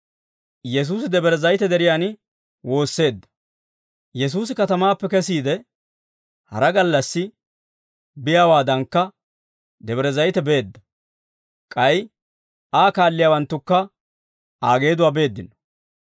Yesuusi katamaappe kesiide, hara gallassi biyaawaadankka Debre Zayite beedda. K'ay Aa kaalliyaawanttukka Aa geeduwaa beeddino.